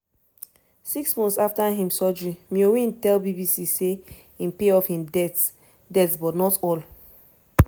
six months afta im surgery myo win tell bbc say im pay off im debts debts but not all.